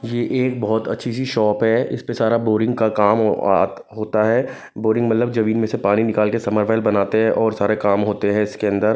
ये एक बहोत अच्छी सी शॉप है इस पे सारा बोरिंग का काम ओ आ होता है बोरिंग मतलब जमीन में से पानी निकाल के समरबेल बनाते हैं और सारे काम होते हैं इसके अंदर।